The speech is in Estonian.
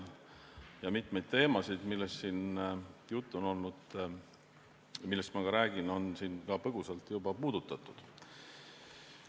Mitmeid teemasid, millest ma ka räägin, on siin põgusalt juba puudutatud.